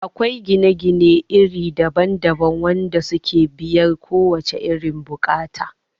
Akwai gine gine iri daban daban wanda suke biyar kowace irin bukata